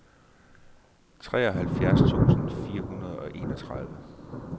treoghalvfjerds tusind fire hundrede og enogtredive